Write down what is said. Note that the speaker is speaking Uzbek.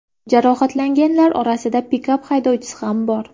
Jarohatlanganlar orasida pikap haydovchisi ham bor.